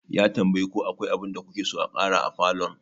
Ya tambayi ko akwai abinda kuke so a ƙara a falon.